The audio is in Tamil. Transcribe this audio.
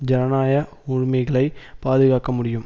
ஜனநாய உரிமைகளை பாதுகாக்க முடியும்